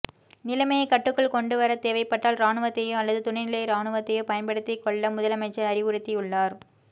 நிலைமையை கட்டுக்குள் கொண்டு வர தேவைப்பட்டால் ராணுவத்தையோ அல்லது துணைநிலை ராணுவத்தையோ பயன்படுத்திக்கொள்ள முதலமைச்சர் அறிவுறுத்தியுள்ளார்